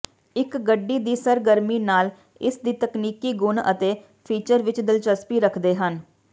ਇੱਕ ਗੱਡੀ ਦੀ ਸਰਗਰਮੀ ਨਾਲ ਇਸ ਦੀ ਤਕਨੀਕੀ ਗੁਣ ਅਤੇ ਫੀਚਰ ਵਿੱਚ ਦਿਲਚਸਪੀ ਰੱਖਦੇ ਹਨ